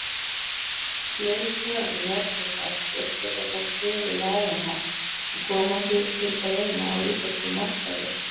Fleiri tegundir neftóbaks uppfylla þó kröfur laganna og koma því til greina á íslenskum markaði.